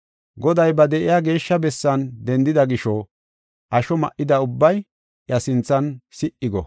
Goday ba de7iya geeshsha bessan dendida gisho, asho ma77ida ubbay iya sinthan si77i go!